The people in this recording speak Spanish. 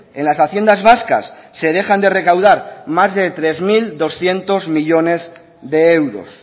en las haciendas vascas se dejan de recaudar más de tres mil doscientos millónes de euros